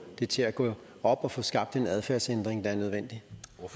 det til at gå op og få skabt en adfærdsændring der er nødvendig